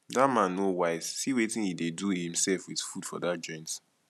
dat man no wise see wetin he dey do himself with food for dat joint